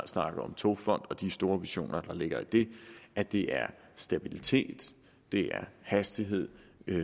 snakke om togfond og de store visioner der ligger i det at det er stabilitet det er hastighed